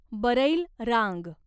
बरैल रांग